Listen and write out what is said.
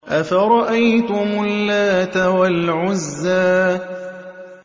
أَفَرَأَيْتُمُ اللَّاتَ وَالْعُزَّىٰ